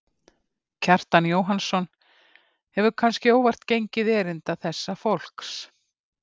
Kjartan Jóhannsson hefur, kannske óvart, gengið erinda þessa fólks.